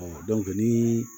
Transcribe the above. ni